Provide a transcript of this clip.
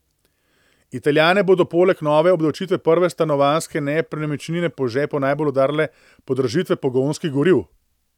Italijane bodo poleg nove obdavčitve prve stanovanjske nepremičnine po žepu najbolj udarile podražitve pogonskih goriv.